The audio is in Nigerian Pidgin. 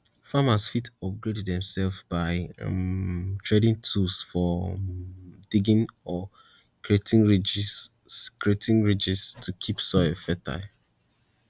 farmers fit upgrade demselves by um tradin tools for um diggin or creatin ridges creatin ridges to keep soil fertile